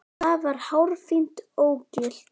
Það var hárfínt ógilt.